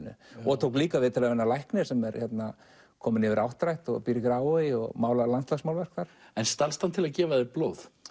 og tók líka viðtal við við lækninn sem er kominn yfir áttrætt og býr í Grafarvogi og málar landslagsmálverk þar en stalst hann til að gefa þér blóð